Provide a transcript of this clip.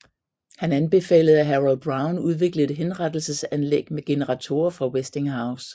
Han anbefalede at Harold Brown udviklede et henrettelsesanlæg med generatorer fra Westinghouse